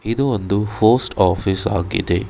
ಇದು ಒಂದು post office ಆಗಿದೆ.